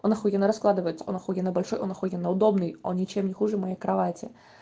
он ахуенно раскладывается он ахуенно большой он ахуенно удобный он ничем не хуже моей кровати